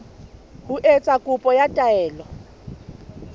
ho etsa kopo ya taelo